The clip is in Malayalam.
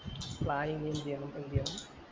planning എന്ത് ചെയ്യണം എന്ത് ചെയ്യണം